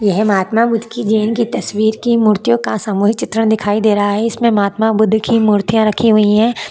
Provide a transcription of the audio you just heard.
यह महात्मा बुद्ध की जयंती की तस्वीर की मूर्तियों का सामुहिक चित्र दिखाई दे रहा है इसमें महात्मा बुद्ध की मूर्तियां रखी हुई है।